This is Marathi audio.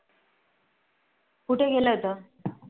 कुठे केलं होत